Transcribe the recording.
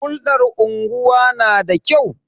Hulɗar unguwa na da kyau.